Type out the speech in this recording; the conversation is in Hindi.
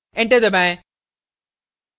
enter दबाएं